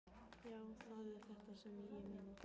Já, það er þetta sem ég meina!